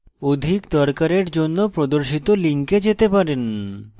অধিক দরকারের জন্য প্রদর্শিত links যেতে পারেন